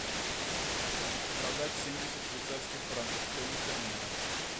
продать семьдесят швейцарских франков стоимость обмена